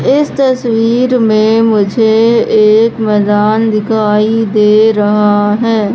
इस तस्वीर में मुझे एक मैदान दिखाई दे रहा है।